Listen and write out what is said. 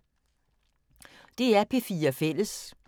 DR P4 Fælles